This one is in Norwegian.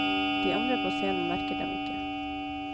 De andre på scenen merker dem ikke.